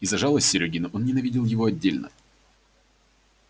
и за жалость серёгину он ненавидел его отдельно